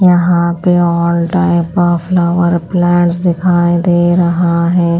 यहाँ पे all type of flower plants दिखाई दे रहा है।